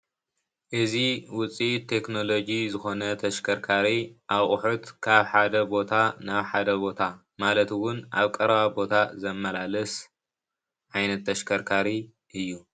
እዚ ውፂኢት ቴክኖሎጂ ዝኾነ ተሽከርካሪ አቑሑት ካብ ሓደ ቦታ ናብ ሓደ ቦታ ማለት እውን አብ ቀረባ ቦታ ዘማላልስ ዓይነት ተሽከርካሪ እዩ፡፡